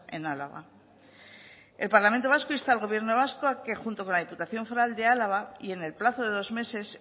en álava el parlamento vasco insta al gobierno vasco a que junto con la diputación foral de álava y en el plazo de dos meses